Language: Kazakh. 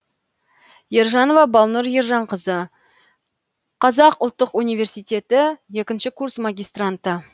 ержанова балнұр ержанқызы қазұлттық университеті екінші курс магистранты